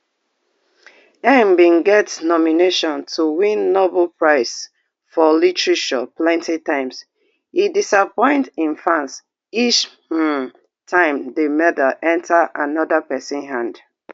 ngg bin get nomination to win nobel prize for literature plenty times e disappoint im fans each um time di medal enta anoda pesin hand